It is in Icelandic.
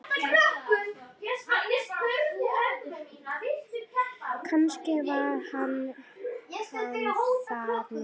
Kannski var hann þar núna.